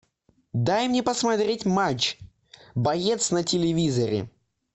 дай мне посмотреть матч боец на телевизоре